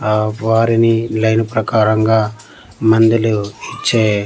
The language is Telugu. ఆ వారిని లైన్ ప్రకారంగా మందులు ఇచ్చే--